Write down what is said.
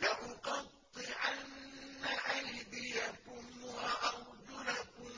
لَأُقَطِّعَنَّ أَيْدِيَكُمْ وَأَرْجُلَكُم